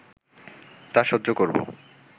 তা সহ্য করব